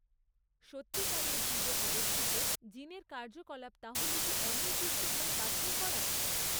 সত্যিকারের জীবে অবস্থিত জিনের কার্যকলাপ তাহলে কি অনির্দিষ্টভাবে বাছাই করা?